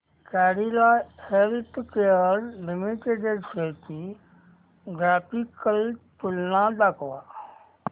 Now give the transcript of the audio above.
Cadila healthcare limited shares ची graphical तुलना दाखव